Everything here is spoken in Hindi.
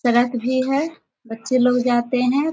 सड़क भी है बच्चे लोग जाते हैं।